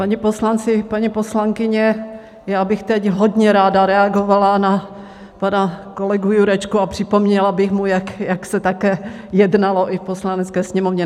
Páni poslanci, paní poslankyně, já bych teď hodně ráda reagovala na pana kolegu Jurečku a připomněla bych mu, jak se také jednalo i v Poslanecké sněmovně.